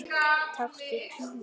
Taktu tímann Lilla!